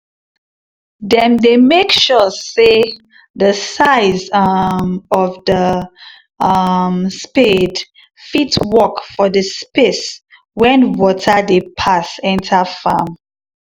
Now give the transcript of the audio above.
them dey make sure say the size um of the um spade fit work for the space wen water dey pass enter farm